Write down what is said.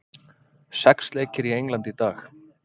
Sex leikir í Englandi í dag